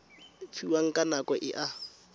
fiwang ka nako e a